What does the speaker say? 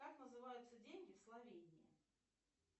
как называются деньги в словении